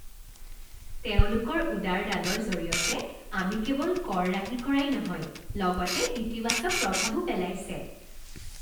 তেওঁলোকৰ উদাৰ দানৰ জৰিয়তে আমি কেৱল কৰ ৰাহি কৰাই নহয় লগতে ইতিবাচক প্ৰভাৱো পেলাইছে!